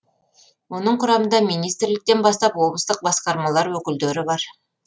оның құрамында министрліктен бастап облыстық басқармалар өкілдері бар